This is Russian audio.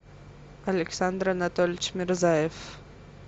александр анатольевич мирзаев